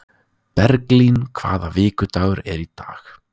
Berglín, hvaða vikudagur er í dag?